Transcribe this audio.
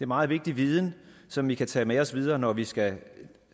meget vigtig viden som vi kan tage med os videre når vi skal